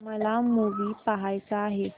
मला मूवी पहायचा आहे